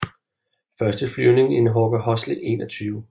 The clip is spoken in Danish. Første flyvning i en Hawker Horsley 21